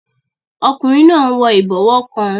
Ọkùnrin náà n wọ ìbọwọ́ kan